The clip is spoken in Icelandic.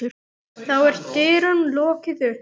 Þá er dyrum lokið upp.